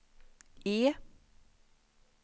E